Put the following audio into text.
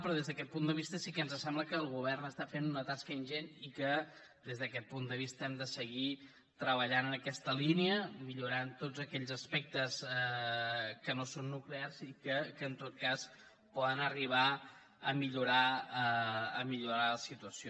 però des d’aquest punt de vista sí que ens sembla que el govern està fent una tasca ingent i que des d’aquest punt de vista hem de seguir treballant en aquesta línia i millorar ne tots aquells aspectes que no són nuclears i que en tot cas poden arribar a millorar la situació